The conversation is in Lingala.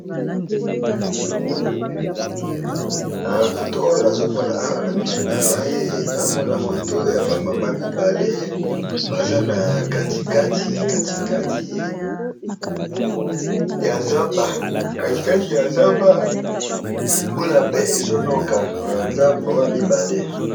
Photo oyo nazo mona awa na miso nangai, nao mona photo ya ba mamans mibale baza na katikati, katikati ya zamba, katikati ya zamba mbula pe ezo noka, eza ba maman mibale.